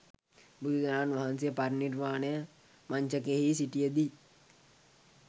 බුදුරජාණන් වහන්සේ පරිනිර්වාණ මංචකයෙහි සිටිය දී